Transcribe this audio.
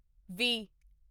ਵੀਹ